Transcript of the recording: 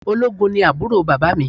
Ológun ni àbúrò bàbá mi